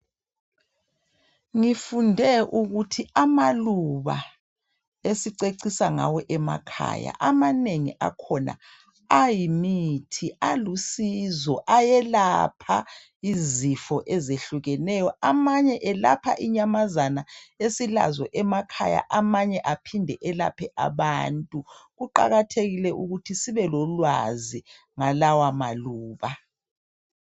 Ngifunde ukuthi amaluba esicecisa ngawo emakhaya, amanengi akhona ayimithi, alusizo, ayelapha izifo ezehlukeneyo. Amanye ayelapha inyamazana esilazo emakhaya, amanye aphinde elaphe abantu, kuqakathekile ukuthi sibe lolwazi ngalawa maluba.